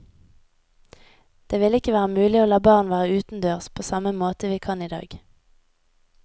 Det ville ikke være mulig å la barn være utendørs på samme måte vi kan i dag.